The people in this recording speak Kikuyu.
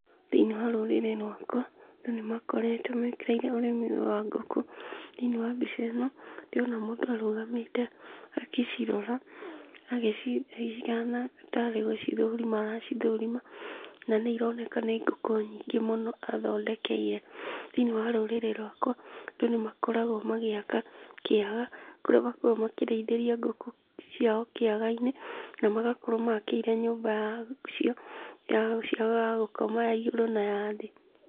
Thĩinĩ wa rũrĩrĩ rwaka andũ nĩmakoragwo mekĩrĩire ũrĩmi ũyũ wa ngũkũ.Thĩinĩ wa mbica ĩno ndĩrona mũndũ arũgamĩte agĩcirora, agĩcithigana ahana tarĩ gũcithũrima aracithũrima. Na nĩironeka nĩ ngũkũ nyingĩ mũno athondekeire. Thĩinĩ wa rũrĩrĩ rwakwa andũ nĩmakoragwo magĩaka kĩaga kũrĩa makoragwo makĩrĩithĩria ngũkũ ciao kĩagainĩ na magakorwo makĩire nyumba ya gũkoma ya igũrũ na thĩ.